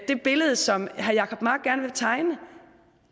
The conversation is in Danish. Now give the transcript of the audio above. det billede som herre jacob mark gerne vil tegne